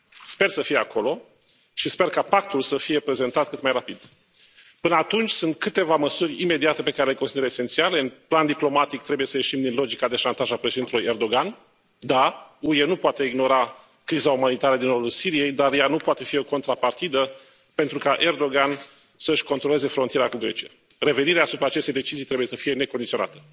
Sper să fie acolo și sper ca pactul să fie prezentat cât mai rapid. Până atunci sunt câteva măsuri imediate pe care le consider esențiale în plan diplomatic trebuie să ieșim din logica de șantaj a președintelui Erdogan. Da, UE nu poate ignora criza umanitară din nordul Siriei, dar ea nu poate fi o contrapartidă pentru ca Erdogan să și controleze frontiera cu Grecia. Revenirea asupra acestei decizii trebuie să fie necondiționată.